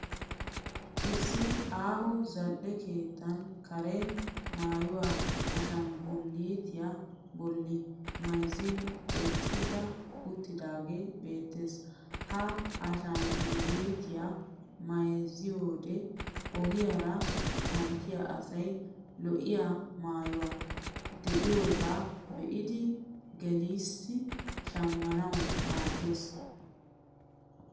Issi aaho zal'e keettaa karen maayuwa ashangguluutiya bolli mayizzin eqqidi uttidaagee beettes. Ha ashangguluutiya mayizziyoode ogiyaara kanttiya asay lo'iya maayoy de'iyaagaa be'idi gelis shammanawu maaddes.